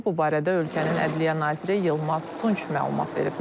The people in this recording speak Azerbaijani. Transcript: Bu barədə ölkənin ədliyyə naziri Yılmaz Tunç məlumat verib.